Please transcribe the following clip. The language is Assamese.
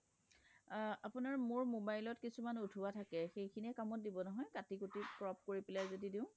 আপোনাৰ মোৰ mobile ত কিছুমান উঠোৱা থাকে সেইখিনি কামত দিব নহয় কাটি কোটি crop কৰি পেলাই যদি দিওঁ